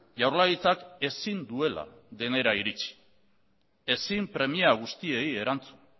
jaurlaritzak ezin duela denera iritzi ezin premia guztiei erantzun